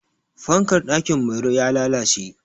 Fankar ɗakin Mairo ya lalalce.